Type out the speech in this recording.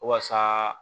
Waasa